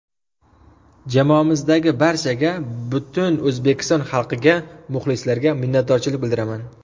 Jamoamizdagi barchaga, butun O‘zbekiston xalqiga, muxlislarga minnatdorchilik bildiraman.